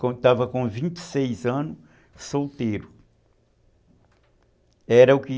Quando estava com vinte e seis anos, solteiro.